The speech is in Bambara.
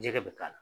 Jɛgɛ bɛ k'a la